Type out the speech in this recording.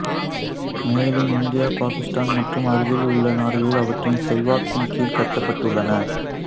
மேலும் இந்தியா பாக்கிஸ்தான் மற்றும் அருகிலுள்ள நாடுகளில் அவற்றின் செல்வாக்கின் கீழ் கட்டப்பட்டுள்ளன